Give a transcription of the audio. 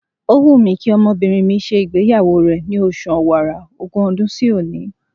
Ó wù mí kí ọmọbìnrin mi ṣe ìgbéyàwó rẹ̀ ni oṣù Ọ̀wàrà, ogún ọdún sí òní.